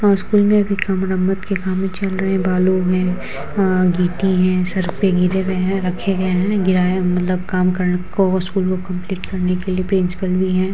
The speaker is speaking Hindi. में भी काम मरम्मत के कामें चल रहे हैं बालू हैं अ गिट्टी हैं गिरे हुए हैं रखे गए हैं गिराएं मतलब काम को स्कूल को कम्पलीट करने के लिए प्रिंसिपल भी हैं।